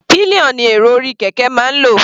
Pillion ni èrò orí kẹ̀kẹ́ máa ń lò.